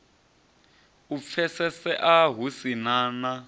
u pfesesea hu si na